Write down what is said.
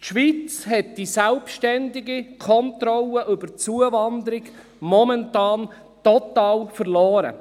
Die Schweiz hat die selbstständige Kontrolle über die Zuwanderung momentan total verloren.